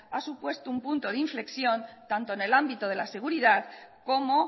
ha supuesto un punto de inflexión tanto en el ámbito de la seguridad como